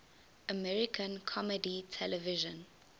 american comedy television